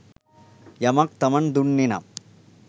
යමක් තමන් දුන්නේනම්